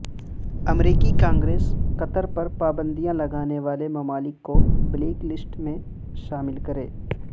امریکی Congress Qatar پر پابندیاں لگانے والے ممالک کو بلیک لسٹ میں شامل کرے